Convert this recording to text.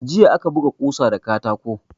Jiya aka buga kusa da katako.